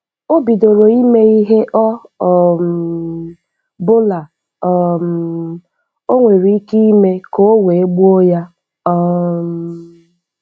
Ọ bidoro ịme ihe ọ um bụla um o nwere ike ime ka ọ wee gbuo ya. um